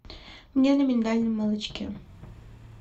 мне на миндальном молочке